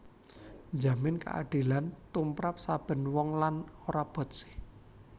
Njamin kaadilan tumrap saben wong lan ora botsih